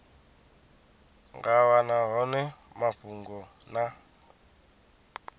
nga wana hone mafhungo na